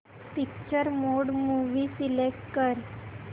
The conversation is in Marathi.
पिक्चर मोड मूवी सिलेक्ट कर